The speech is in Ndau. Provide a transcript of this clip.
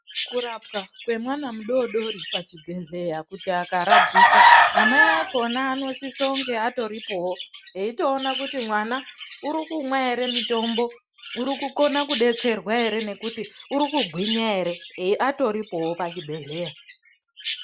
Kurapwa kwemwana mudodori pachibhedhleya kuti akaradzikwa, namai akhona anosisonge atoripowo, eitoona kuti mwana uri kumwa ere mitombo ,uri kukona kudetserwa ere ,nekuti uri kugwinya ere eatoripowo pachibhedhleya.